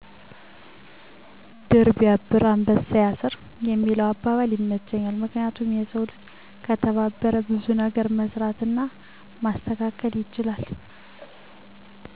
"ድር ቢያብር አንበሳ ያስር" የሚለው አባባል ይመቸኛል። ምክንያቱም የሰው ልጅ ከተተባበረ ብዙ ነገር መስራት እና ማስተካከል ይችላል።